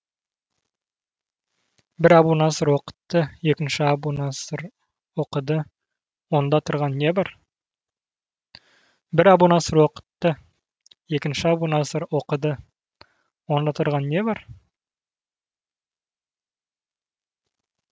бір әбу наср оқытты екінші әбу наср оқыды онда тұрған не бар